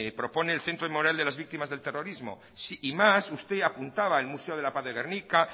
propone el centro moral de las víctimas del terrorismo y más usted apuntaba el museo de la paz de gernika